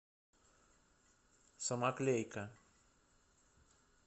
самоклейка